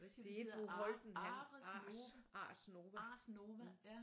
Det er Bo Holten han Ars Ars Nova